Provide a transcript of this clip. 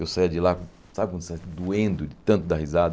Eu saía de lá, sabe quando você doendo de tanto dar risada?